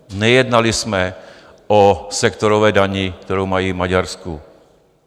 Nejednali jsme o sektorové dani, kterou mají v Maďarsku.